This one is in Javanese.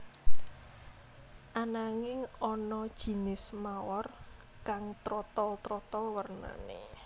Ananging ana jinis mawar kang trotol trotol wernané